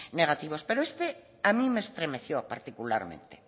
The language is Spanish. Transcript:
negativos pero este a mí me estremeció particularmente